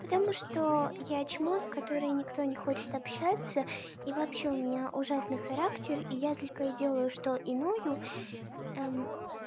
потому что я чмо с которой никто не хочет общаться и вообще у меня ужасный характер и я только и делаю что и ною